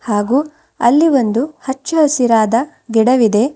ಹಾಗು ಅಲ್ಲಿ ಒಂದು ಹಚ್ಚಹಸಿರಾದ ಗಿಡವಿದೆ.